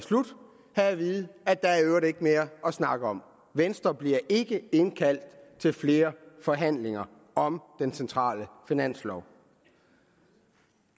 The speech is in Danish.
slut have at vide at der i øvrigt ikke er mere at snakke om venstre bliver ikke indkaldt til flere forhandlinger om den centrale finanslov